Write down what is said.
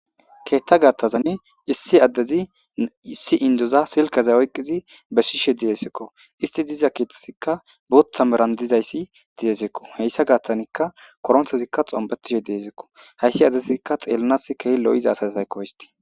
Ketha gathazan issi adezi issi indoza silkeza oykid besishe desko. Ist diza dizika bootha meran dizaysi desko. Iza gathanka korontezika xompetishe desko. Hays asazika xelanaska keeh lo'iza asako isti.